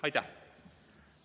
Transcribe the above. Aitäh!